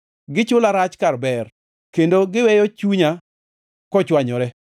Gichula rach kar ber, kendo giweyo chunya kochwanyore.